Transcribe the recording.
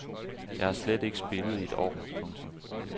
Jeg har slet ikke spillet i et år. punktum